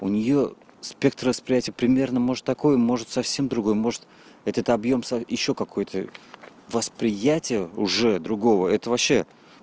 у нее спектр восприятия примерно может такой может совсем другой может этот объем ещё какой-то восприятие уже другого это вообще